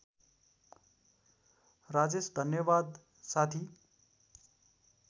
राजेश धन्यवाद साथी